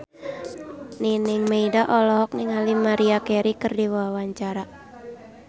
Nining Meida olohok ningali Maria Carey keur diwawancara